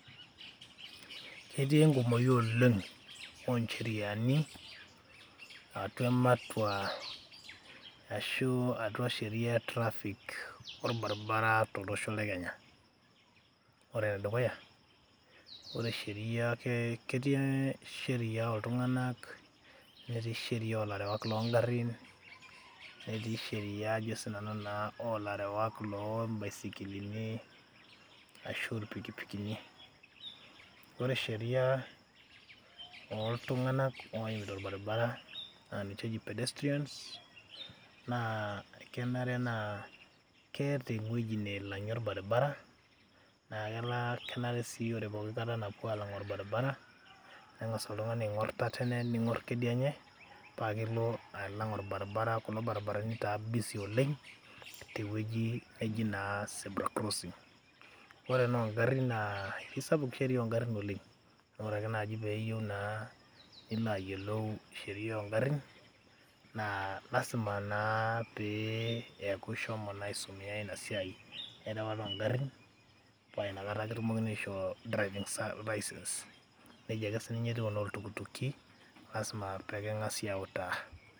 Etii enkumoi oleng oncheriani atua ematua ashu atua sheria e traffic orbaribara tolosho lekenya ore enedukuya ore sheria ketii sheria oltunganak, netii sheria olarewak lengari ,netii sheria olarewak loombaisikilini ashu irpikipiki ore sheria oltunganak oimita orbaribara na ninche eji pedestrians na kenare naa keeta ewueji nalangie orbaribara na kenare si peeta alangu orbaribara nengasa oltungani aingor tatene pakelo alang orbaribara kulo baribarani ora busy Oleng tewueji naji naa cs zebra crossing cs ore enongarin neji naa kesapuk sheria ongarin oleng amu ore nai peji naa pilayiolou sheria ongarin naa lasima pee ishomo na aisumia inasiai erewata ongarin pa inakata kipuoi aisho driving licence nejia ake sinye etiu enoltukutuki lasima ake pekingasai autaa.